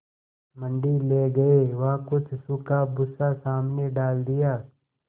मंडी ले गये वहाँ कुछ सूखा भूसा सामने डाल दिया